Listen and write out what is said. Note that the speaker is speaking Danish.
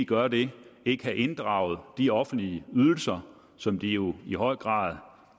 gør det ikke have inddraget de offentlige ydelser som de jo i høj grad